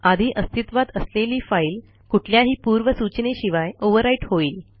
आधी अस्तित्वात असलेली फाईल कुठल्याही पूर्वसूचनेशिवाय overwriteहोईल